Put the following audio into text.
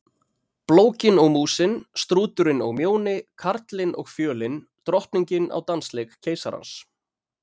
Blókin og Músin, Strúturinn og Mjóni, Karlinn og Fjölin, Drottningin á dansleik keisarans.